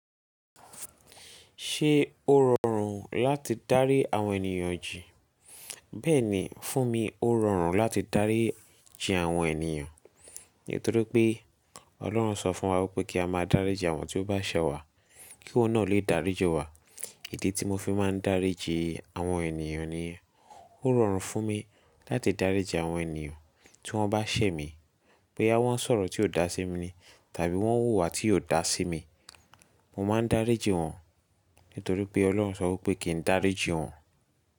Ṣé ó rọrùn láti dárí àwọn ènìyàn jì? Bẹ́ẹ̀ni, fún mi ó rọrùn láti dárí ji àwọn ènìyàn. Nítorí pé Ọlọ́run sọ fún wa wípé kí a máa dárí ji àwọn tí ó bá ṣẹ́ wa kí oun náà lè dáríji wa. Idi tí mo fi máa ń dárí ji àwọn ènìyàn niyen ó rọrùn fún mi láti dárí ji àwọn ènìyàn tí wọ́n bá ṣẹ́ mi. Boyá wọ́n ń sọ̀rọ̀ tí ó dà sí mi ni tàbí wọ́n wùwà tí ó dà sí mi, mo máa ń dárí ji wọ́n. Nítorí pé Ọlọ́run sọ wípé kí n dárí ji wọ́n.